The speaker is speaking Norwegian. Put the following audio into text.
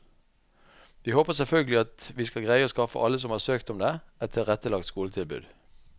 Vi håper selvfølgelig at vi skal greie å skaffe alle som har søkt om det, et tilrettelagt skoletilbud.